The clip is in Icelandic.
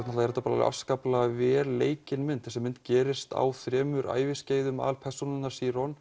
er þetta afskaplega vel leikin mynd þessi mynd gerist á þremur æviskeiðum aðalpersónunnar